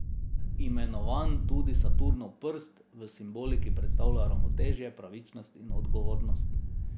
Imenovan tudi Saturnov prst, v simboliki predstavlja ravnotežje, pravičnost in odgovornost.